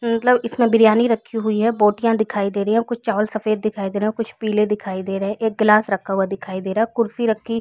मतलब इसमें बिरयानी रखी हुई है बोटिया दिखाई दे रही है और कुछ चावल सफेद दिखाई दे रहै है और कुछ पीले दिखाई दे रहै है एक गिलास रखा हुआ दिखाई दे रहा है कुर्सी रखी--